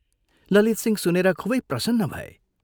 ललितसिंह सुनेर खूबै प्रसन्न भए।